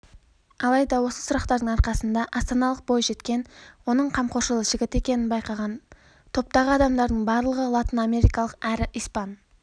алайда осы сұрақтардың арқасында астаналық бойжеткен оның қамқоршылжігіт екенін байқаған топтағы адамдардың барлығы латынамерикалық әрі испан